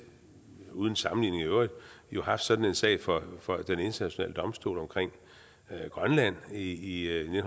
uden sammenligning i øvrigt haft sådan en sag for for den internationale domstol omkring grønland i i